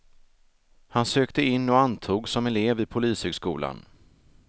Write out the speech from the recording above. Han sökte in och antogs som elev vid polishögskolan.